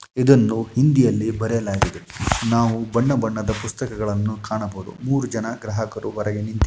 ಇದನ್ನು ಹಿಂದಿಯಲ್ಲಿ ಬರೆಯಲಾಗಿದೆ ನಾವು ಬಣ್ಣ ಬಣ್ಣದ ಪುಸ್ತಕಗಳನ್ನು ಕಾಣಬಹುದು ಮೂರು ಜನ ಗ್ರಹಕರು ಹೊರಗೆ ನಿಂತಿ --